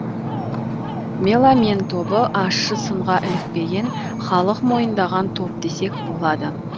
меломен тобы ащы сынға ілікпеген халық мойындаған топ десек болады